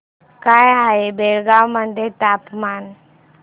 काय आहे बेळगाव मध्ये तापमान